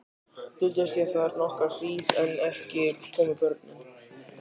Duldist ég þar nokkra hríð en ekki komu börnin.